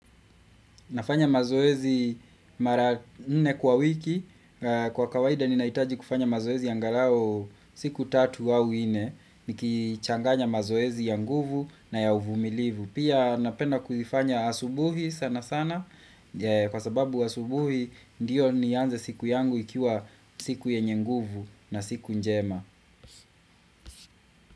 Nafanya mazoezi mara nne kwa wiki, kwa kawaida ninahitaji kufanya mazoezi angalau siku tatu au nne, nikichanganya mazoezi ya nguvu na ya uvumilivu. Pia napenda kufanya asubuhi sana sana, kwa sababu asubuhi ndiyo nianze siku yangu ikiwa siku yenye nguvu na siku njema.